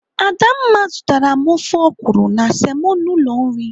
Adamma zụtara m ofe ọkwụrụ na semo n'ụlọ nri.